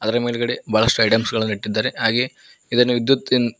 ಅದರ ಮೇಲ್ಗಡೆ ಬಹಳಷ್ಟು ಐಟಮ್ಸ್ ಗಳನ್ನ ಇಟ್ಟಿದ್ದಾರೆ ಹಾಗೆ ಇದನ್ನು ವಿದ್ಯುತ್ ಇನ್ನು --